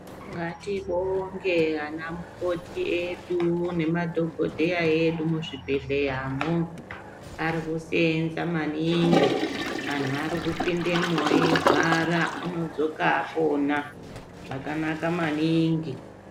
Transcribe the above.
Ngatibonge ana mukoti edu remadhogodheya edu muzvibhehleyamo vari kusenza maningi antu ari kupindemwo eirwara anodzoka apona.